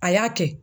A y'a kɛ